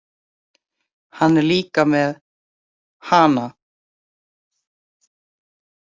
Hann er líka með HANA!